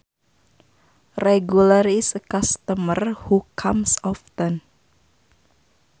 A regular is a customer who comes often